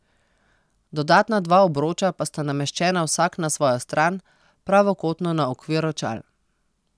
Dodatna dva obroča pa sta nameščena vsak na svojo stran, pravokotno na okvir očal.